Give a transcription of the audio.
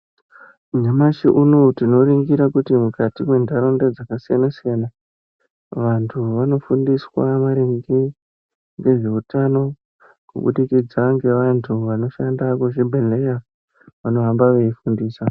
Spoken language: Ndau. Nyamashi unoyu tinoringira kuti mukati mwentaraunda dzakasiyana siyana vantu vanofundiswa maringe ngezveutano kubudikidza ngevantu vanoshanda muzvibhedhleya, vanohamba veifundisa.